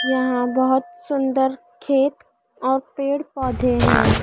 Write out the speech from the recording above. यहां बहोत सुंदर खेत और पेड़ पौधे हैं।